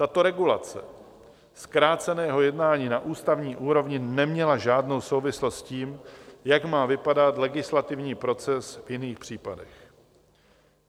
Tato regulace zkráceného jednání na ústavní úrovni neměla žádnou souvislost s tím, jak má vypadat legislativní proces v jiných případech.